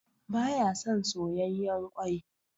Ba ya son soyayyan kwai.